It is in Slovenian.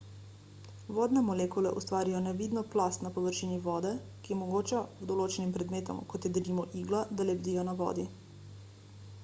vodne molekule ustvarijo nevidno plast na površini vode ki omogoča določenim predmetom kot je denimo igla da lebdijo na vodi